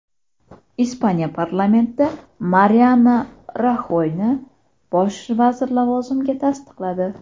Ispaniya parlamenti Mariano Raxoyni bosh vazir lavozimiga tasdiqladi.